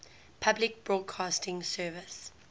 public broadcasting service